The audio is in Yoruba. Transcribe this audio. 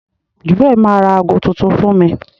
Jewel ma ra agọ tuntun fún mí.